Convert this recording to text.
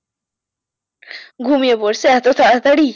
ঘুমিয়ে পড়ছে এত তাড়াতাড়ি